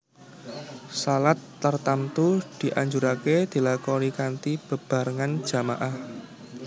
Shalat tartamtu dianjuraké dilakonikanthi bebarengan jama ah